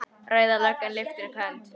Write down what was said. Rauða löggan lyftir upp hönd.